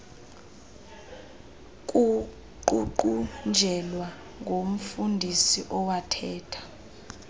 kuququnjelwa ngumfundisi owathetha